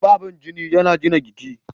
Tufafin jini yana gina jiki.